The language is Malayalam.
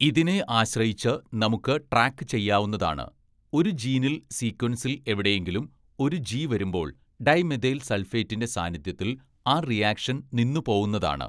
ഇതിനെ ആശ്രയിച്ച് നമുക്ക് ട്രാക്ക് ചെയ്യാവുന്നതാണ്, ഒരു ജീനിൽ സീക്വൻസിൽ എവിടെയെങ്കിലും ഒരു ജി വരുമ്പോള്‍ ഡൈമെഥൈൽ സൾഫേറ്റിന്റെ സാന്നിധ്യത്തിൽ ആ റിയാക്ഷൻ നിന്നു പോവുന്നതാണ്.